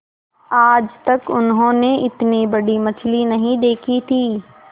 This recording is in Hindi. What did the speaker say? आज तक उन्होंने इतनी बड़ी मछली नहीं देखी थी